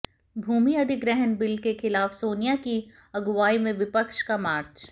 भूमि अधिग्रहण बिल के खिलाफ सोनिया की अगुवाई में विपक्ष का मार्च